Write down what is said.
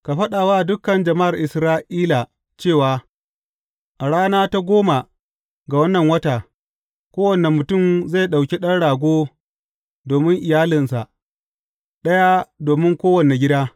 Ka faɗa wa dukan jama’ar Isra’ila cewa a rana ta goma ga wannan wata, kowane mutum zai ɗauki ɗan rago domin iyalinsa, ɗaya domin kowane gida.